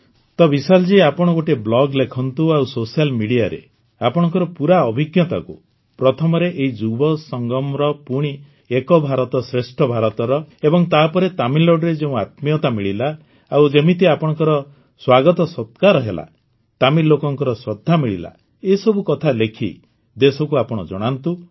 ତ ବିଶାଖା ଜୀ ଆପଣ ଗୋଟିଏ ବ୍ଲଗ୍ ଲେଖନ୍ତୁ ଆଉ ସୋସିଆଲ୍ ମିଡିଆରେ ଆପଣଙ୍କର ପୂରା ଅଭିଜ୍ଞତାକୁ ପ୍ରଥମରେ ଏହି ଯୁବସଙ୍ଗମର ପୁଣି ଏକ୍ ଭାରତ ଶ୍ରେଷ୍ଠ ଭାରତର ଏବଂ ତାପରେ ତାମିଲନାଡୁରେ ଯେଉଁ ଆତ୍ମୀୟତା ମିଳିଲା ଆଉ ଯେମିତି ଆପଣଙ୍କର ସ୍ୱାଗତସତ୍କାର ହେଲା ତାମିଲ ଲୋକଙ୍କର ଶ୍ରଦ୍ଧା ମିଳିଲା ଏସବୁ କଥା ଲେଖି ଦେଶକୁ ଆପଣ ଜଣାନ୍ତୁ